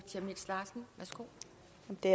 det